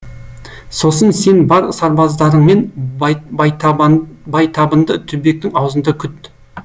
сосын сен бар сарбаздарыңмен байтабынды түбектің аузында күт